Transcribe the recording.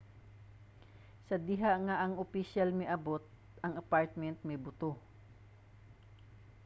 sa diha nga ang opisyal miabot ang apartment mibuto